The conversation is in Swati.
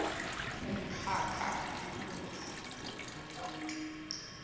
umkhakha lilunga umuntfu